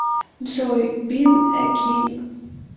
джой бин э кинг